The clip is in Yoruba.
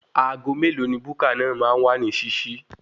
Aago mélòó ni buka náà máa wà ní ṣíṣí?